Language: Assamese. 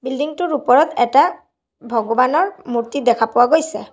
বিল্ডিঙটোৰ ওপৰত এটা ভগৱানৰ মূৰ্তি দেখা পোৱা গৈছে।